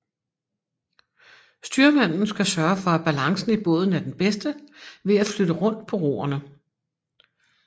Styrmanden skal sørge for at balancen i båden er den bedste ved at flytte rundt på roerne